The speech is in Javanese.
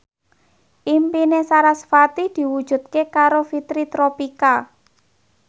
impine sarasvati diwujudke karo Fitri Tropika